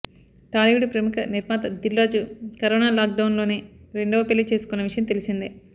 టాలీవుడ్ ప్రముఖ నిర్మాత Dil Raju corona lock డౌన్లోనే రెండవ పెళ్లి చేసుకున్న విషయం తెల్సిందే